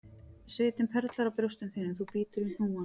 Svitinn perlar á brjóstum þínum þú bítur í hnúann,